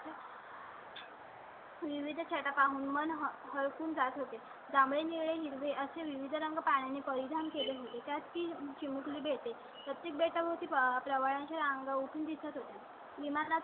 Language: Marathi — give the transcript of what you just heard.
विविध छटा पाहून मन हर खून जात होते. त्यामुळे असे विविध रंग पाणी परिधान केले होते. त्यात ती चिमुकली भेटेल. प्रत्येक बेटा होती पवारांच्या सांगून दिसत होते. विमाना